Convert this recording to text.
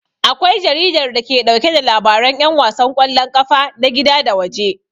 Akwai jaridar da ke ɗauke da labaran 'yan wasan ƙwallon kafa na gida da waje.